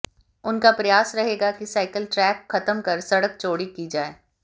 उनका प्रयास रहेगा कि साइकिल ट्रैक खत्म कर सड़क चौड़ी की जाए